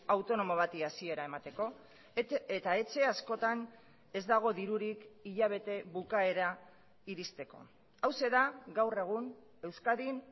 autonomo bati hasiera emateko eta etxe askotan ez dago dirurik hilabete bukaera iristeko hauxe da gaur egun euskadin